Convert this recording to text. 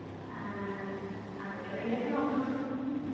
ആഹ് അവിടെ എവിടേലൊക്കെ നോക്കണം